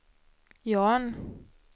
Jan